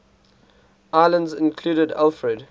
islands included alfred